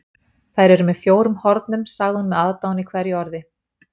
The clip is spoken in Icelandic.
Þær eru með fjórum hornum, sagði hún með aðdáun í hverju orði.